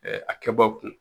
Ɛɛ a kɛbɔ kun